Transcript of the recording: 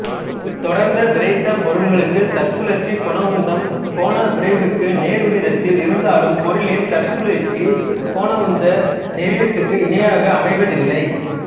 தொடர்ந்த விறைத்த பொருள்களுக்குத் தற்சுழற்சி கோணவுந்தம் கோண விரைவுக்கு நேர்விகிதத்தில் இருந்தாலும் பொருளின் தற்சுழற்சிக் கோணவுந்த நெறியத்துக்கு இணையாக அமைவதில்லை